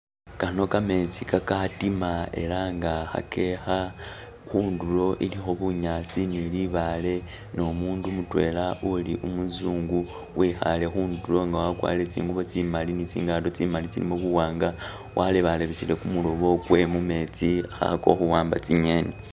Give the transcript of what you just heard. Kano kametsi kakatima ela nga khakekha, khundulo i likho bunyaasi ni libaale ni umundu mutwela uli umu zungu wikhale khundulo nga wakwarire tsingubo tsimali nitsi ngato tsimali tsilimo bu wanga walebalebesele ku mulobo kwe mu metsi kha khakakho khu wamba tsinyeni